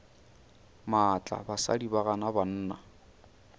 maatla basadi ba gana banna